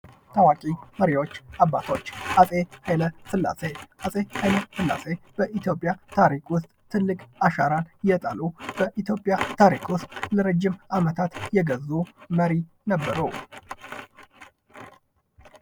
ታዋቂ መሪዎች እና አባቶች አጼ ሀይለ ስላሴ፦ አጼ ሀይለ ስላሴ በኢትዮጵያ ታሪክ ውስጥ ትልቅ አሻራ የጣሉ በኢትዮጵያ ታሪክ ውስጥ ለረጂም አመታት የገዙ መሪ ነበሩ።